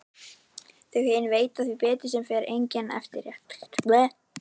Þau hin veita því sem betur fer enga eftirtekt.